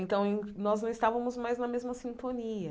Então eu, nós não estávamos mais na mesma sintonia.